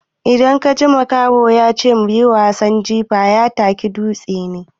Idan kaji makaho ya ce zo muyi wasan jifa, ya taka dutse ne.